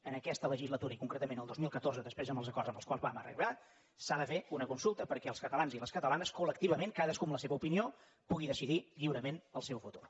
en aquesta legislatura i concretament el dos mil catorze i després dels acords als quals vam arribar s’ha de fer una consulta perquè els catalans i les catalanes col·lectivament cadascú amb la seva opinió puguin decidir lliurement el seu futur